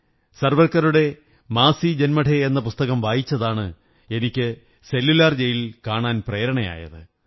സാവര്ക്ക റുടെ മാസീ ജന്മഠേ എന്ന പുസ്തകം വായിച്ചതാണ് എനിക്ക് സെല്ലുലാർ ജെയിൽ കാണാൻ പ്രേരണയായത്